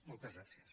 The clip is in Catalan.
moltes gràcies